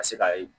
Ka se ka